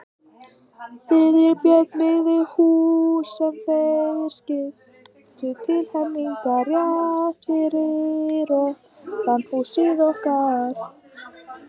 Friðrik og Björn, byggðu hús, sem þeir skiptu til helminga, rétt fyrir ofan húsið okkar.